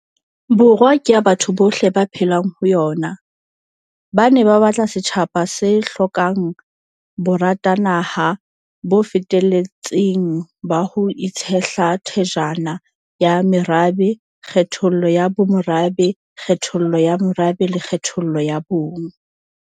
Borwa ke ya batho bohle ba phelang ho yona, ba ne ba batla setjhaba se hlokang boratanaha bo feteletseng ba ho itshehla thajana ha merabe, kgethollo ya bomorabe, kgethollo ya morabe le kgethollo ya bong.